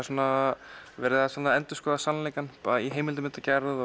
svona verið að endurskoða sannleikann í heimildamyndagerð